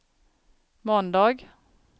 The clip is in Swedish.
måndag